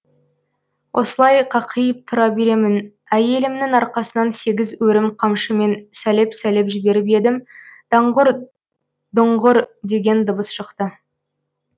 осылай қақиып тұра беремін әйелімнің арқасынан сегіз өрім қамшымен салеп салеп жіберіп едім даңғұр дұңғыр деген дыбыс шықты